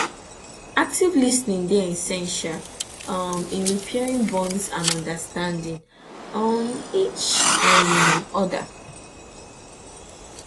active lis ten ing dey essential um in repairing bonds and understanding um each um oda